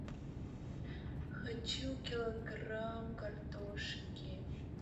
хочу килограмм картошки